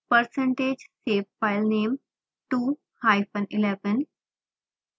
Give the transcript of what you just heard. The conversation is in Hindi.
percentage save filename 2 hyphen 11